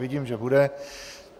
Vidím, že bude.